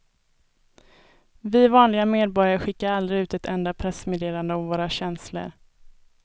Vi vanliga medborgare skickar aldrig ut ett enda pressmeddelande om våra känslor.